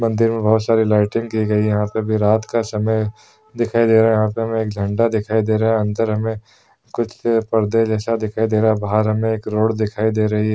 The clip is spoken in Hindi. मंदिर मे बहोत सारी लाइटन की गई हैं। यहाँ पे भी रात का समय दिखाई दे रहा है। यहाँ पे हमे एक झंडा दिखाई दे रहा है। अंदर हमे कुछ परदे जैसा दिखाई दे रहा है। बाहर हमे एक रोड दिखाई दे रही है |